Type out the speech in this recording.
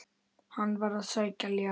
Hann var að sækja ljá.